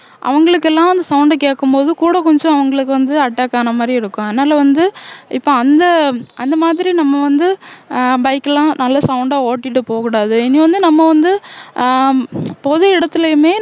அவங்களுக்கெல்லாம் sound கேக்கும் போது கூட கொஞ்சம் அவங்களுக்கு வந்து attack ஆன மாதிரி இருக்கும் அதனால வந்து இப்ப அந்த அந்த மாதிரி நம்ம வந்து அஹ் bike எல்லாம் நல்லா sound ஆ ஓட்டிட்டு போகக் கூடாது இனி வந்து நம்ம வந்து அஹ் பொது இடத்திலையுமே